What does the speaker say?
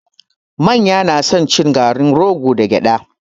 Manya na son cin garin rogo da gyada